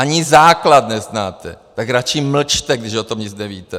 Ani základ neznáte, tak radši mlčte, když o tom nic nevíte.